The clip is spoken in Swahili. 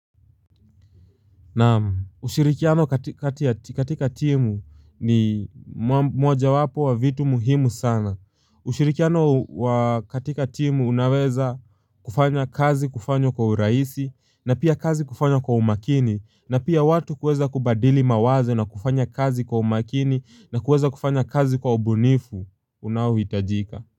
Na ushirikiano katika timu ni moja wapo wa vitu muhimu sana ushirikiano katika timu unaweza kufanya kazi kufanyo kwa uraisi na pia kazi kufanya kwa umakini na pia watu kweza kubadili mawaze na kufanya kazi kwa umakini na kweza kufanya kazi kwa ubunifu unaohitajika.